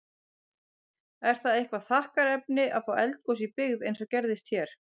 Er það eitthvað þakkarefni að fá eldgos í byggð, eins og gerðist hér?